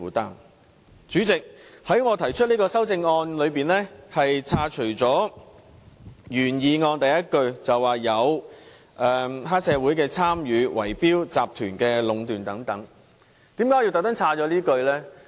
代理主席，我提出的修正案刪除了原議案的第一句，即有關黑社會參與圍標集團壟斷等字眼，為甚麼我故意刪除這一句呢？